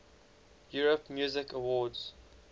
europe music awards